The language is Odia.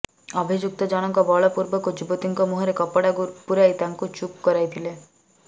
ଅଭିଯୁକ୍ତ ଜଣଙ୍କ ବଳପୂର୍ବକ ଯୁବତୀଙ୍କ ମୁହଁରେ କପଡା ପୁରାଇ ତାଙ୍କୁ ଚୁପ୍ କରାଇଥିଲେ